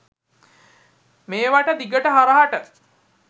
මේවට දිගට හරහට